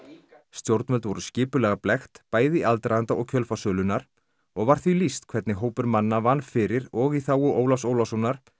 stjórnvöld voru skipulega blekkt bæði í aðdraganda og kjölfar sölunnar og var því lýst hvernig hópur manna vann fyrir og í þágu Ólafs Ólafssonar